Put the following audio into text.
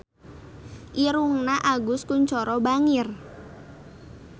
Irungna Agus Kuncoro bangir